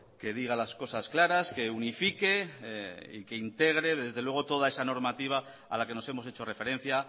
que diga las cosas claras que unifique y que integre desde luego toda esa normativa a la que nos hemos hecho referencia